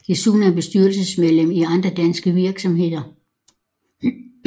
Desuden er han bestyrelsesmedlem i andre danske virksomheder